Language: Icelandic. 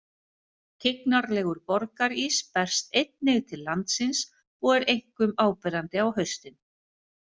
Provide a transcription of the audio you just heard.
Tignarlegur borgarís berst einnig til landsins og er einkum áberandi á haustin.